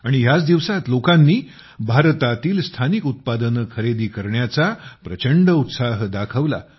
आणि ह्याच दिवसांत लोकांनी भारतातील स्थानिक उत्पादने खरेदी करण्याचा प्रचंड उत्साह दाखवला